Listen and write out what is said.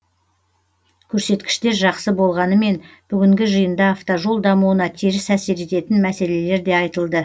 көрсеткіштер жақсы болғанымен бүгінгі жиында автожол дамуына теріс әсер ететін мәселелер де айтылды